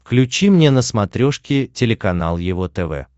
включи мне на смотрешке телеканал его тв